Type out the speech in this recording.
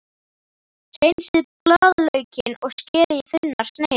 Hreinsið blaðlaukinn og skerið í þunnar sneiðar.